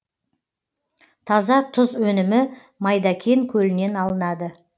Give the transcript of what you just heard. таза тұз өнімі майдакен көлінен алынады